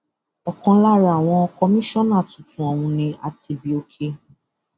ọkan lára àwọn kọmíṣánná tuntun ọhún ni atibioke